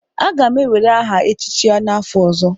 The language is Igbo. Aga m ewere aha echịchị n'afọ ọzọ.